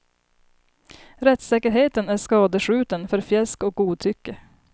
Rättssäkerheten är skadeskjuten för fjäsk och godtycke.